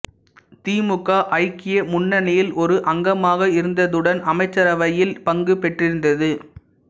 திமுக ஐக்கிய முன்னனியில் ஒரு அங்கமாக இருந்ததுடன் அமைச்சரவையில் பங்கு பெற்றிருந்தது